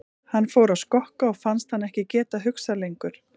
Hann fór að skokka og fannst hann ekki geta hugsað lengur.